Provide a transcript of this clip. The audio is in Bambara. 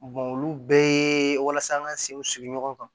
olu bɛɛ ye walasa an ka senw sigi ɲɔgɔn kan